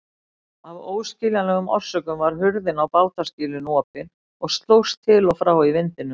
Af óskiljanlegum orsökum var hurðin á bátaskýlinu opin og slóst til og frá í vindinum.